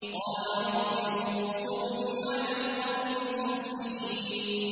قَالَ رَبِّ انصُرْنِي عَلَى الْقَوْمِ الْمُفْسِدِينَ